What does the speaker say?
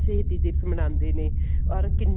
ਸ਼ਹੀਦੀ ਦਿਵਸ ਮਨਾਉਂਦੇ ਨੇ or ਕਿੰਨੇ